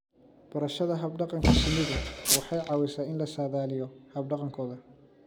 Barashada hab-dhaqanka shinnidu waxay caawisaa in la saadaaliyo hab-dhaqankooda.